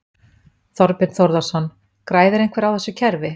Þorbjörn Þórðarson: Græðir einhver á þessu kerfi?